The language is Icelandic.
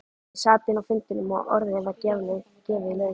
Ég sat inni á fundinum og orðið var gefið laust.